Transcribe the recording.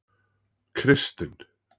Kristinn